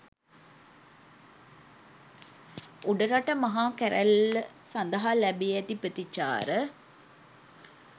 උඩරට මහා කැරුල්ල සඳහා ලැබී ඇති ප්‍රතිචාර